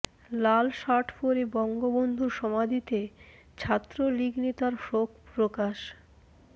লাল shirt পরে বঙ্গবন্ধুর সমাধিতে ছাত্রলীগ নেতার শোক প্রকাশ